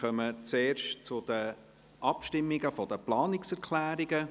Wir kommen zuerst zu den Abstimmungen zu den Planungserklärungen.